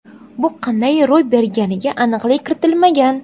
Bu qanday ro‘y berganiga aniqlik kiritilmagan.